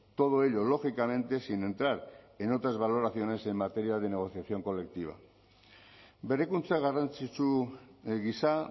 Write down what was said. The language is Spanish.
todo ello lógicamente sin entrar en otras valoraciones en materia de negociación colectiva berrikuntza garrantzitsu gisa